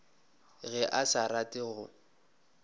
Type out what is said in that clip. ge a sa rate go